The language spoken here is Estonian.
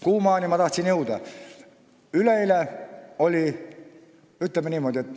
Kuhu ma jõuda tahtsin?